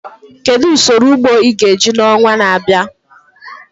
Kedu usoro ugbo ị ga-eji n'ọnwa na-abịa?